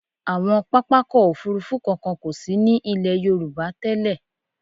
Àwọn pápákọ̀ òfurufú kankan kò sí ní ilẹ̀ Yorùbá tẹ́lẹ̀.